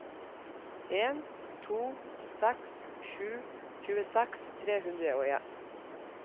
en to seks sju tjueseks tre hundre og en